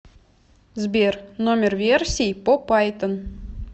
сбер номер версии по пайтон